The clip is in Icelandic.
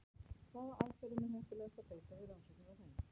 Hvaða aðferðum er heppilegast að beita við rannsóknir á þeim?